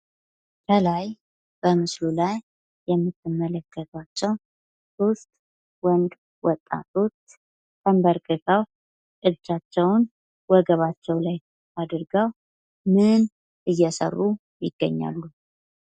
ከላይ በምስሉ ላይ የምትመለከቱዋቸው ዉስጥ ወንድ ወጣቶች ተንበርክከው እጃቸዉን ወገባቸው ላይ አድርገው ምን እየሰሩ ይገኛሉ?